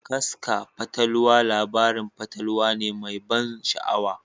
Kasfa fatalwa labarin fatalwa ne mai ban sha'awa.